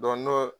n'o